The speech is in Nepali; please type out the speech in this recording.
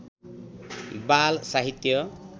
बाल साहित्य